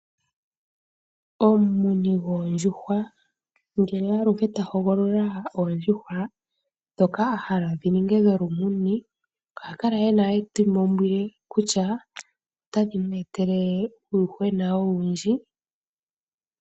Omumuni gwoondjuhwa ngele aluhe ta hogolola oondjuhwa, dhoka ahala dhininge dholumuni, oha kala e na etimaumbwile kutya otadhi mu etele uuyuhwena owundji.